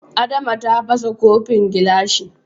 Adama ta fasa kofin gilashi.